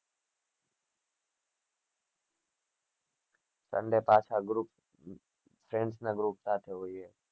sunday પાછા group friends ના group સાથે હોઈએ